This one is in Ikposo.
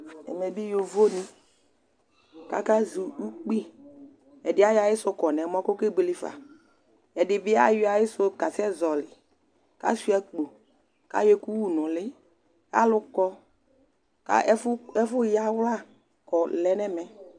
Ɛmɛ bi yovo di, ku aka zɔ ukpii, ɛdi ayɔ ayisu kɔ nu ɛmɔ ku okebuele fa, ɛdi bi ayɔ ayisu ka sɛ zɔli, asuia akpo ku ayɔ ɛku wu nu uli, alu kɔ ka ɛfu yawla kɔ lɛ nu ɛmɛ